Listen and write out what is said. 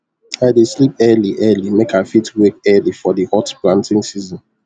i dey sleep early early make i fit wake early for di hot planting season